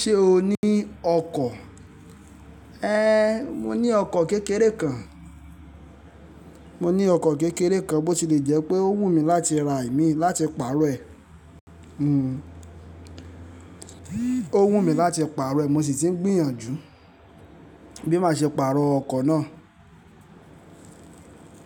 Ṣé o ní ọkọ̀? Éhẹń, mo ní ọkọ̀ kékeré kan. Mo ní ọkọ̀ kékeré kan, bó ti lè jẹ́ pé ó wù mí láti ra imí láti pààrọ̀ ẹ̀. Hhm. Ó wù mí láti pààrọ̀ ẹ̀, mo sì ti ń gbìyànjú bí màá ṣe pààrọ̀ ọkọ̀ náà.